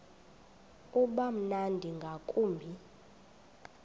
uba mnandi ngakumbi